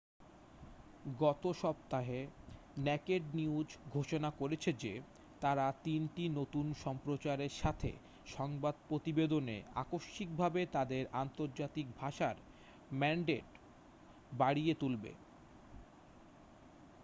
গত সপ্তাহে naked news ঘোষণা করেছে যে তারা তিনটি নতুন সম্প্রচারের সাথে সংবাদ প্রতিবেদনে আকস্মিকভাবে তাদের আন্তর্জাতিক ভাষার ম্যান্ডেট বাড়িয়ে তুলবে